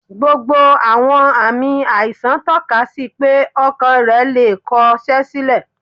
Gbogbo àwọn ààmì àìsàn tọ́ka sí pé Ọkàn rẹ̀ le è kọ ṣẹ́ sílẹ̀.